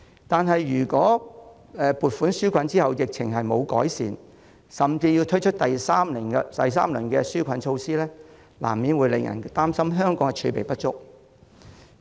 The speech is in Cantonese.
但如果在撥款紓困後疫情未有改善甚至要推出第三輪紓困措施，難免會令人擔心香港的儲備不足。